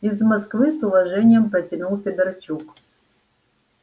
из москвы с уважением протянул федорчук